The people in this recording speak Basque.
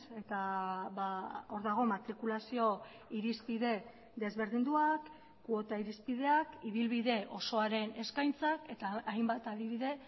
eta hor dago matrikulazio irizpide desberdinduak kuota irizpideak ibilbide osoaren eskaintzak eta hainbat adibide